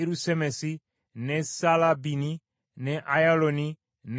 ne Saalabbini ne Ayalooni ne Isula